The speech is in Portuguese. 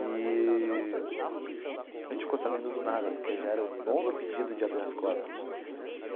Eee a gente ficou sabendo do nada, porque já era o nono pedido de habeas corpus.